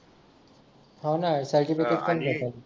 हा ना यार सर्टिफिकेट पण भेटेल